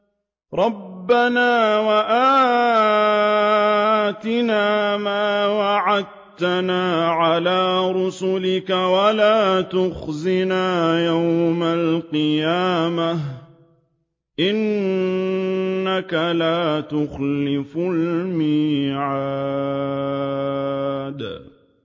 رَبَّنَا وَآتِنَا مَا وَعَدتَّنَا عَلَىٰ رُسُلِكَ وَلَا تُخْزِنَا يَوْمَ الْقِيَامَةِ ۗ إِنَّكَ لَا تُخْلِفُ الْمِيعَادَ